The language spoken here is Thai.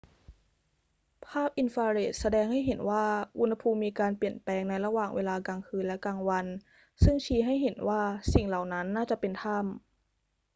ภาพอินฟราเรดแสดงให้เห็นว่าอุณหภูมิมีการเปลี่ยนแปลงในระหว่างเวลากลางคืนและกลางวัน ซึ่งชี้ให้เห็นว่าสิ่งเหล่านั้นน่าจะเป็นถ้ำ